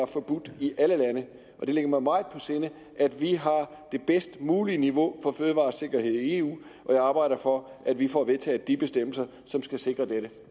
forbudt i alle lande det ligger mig meget på sinde at vi har det bedst mulige niveau for fødevaresikkerhed i eu og jeg arbejder for at vi får vedtaget de bestemmelser som skal sikre dette